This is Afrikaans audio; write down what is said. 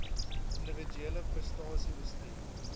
individuele prestasie bestuur